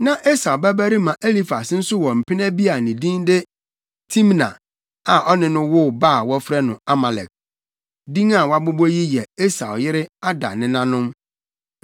Na Esau babarima Elifas nso wɔ mpena bi a ne din de Timna a ɔne no woo ba a wɔfrɛ no Amalek. Din a wɔabobɔ yi yɛ Esau yere Ada nenanom.